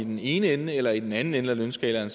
i den ene ende eller i den anden ende af lønskalaen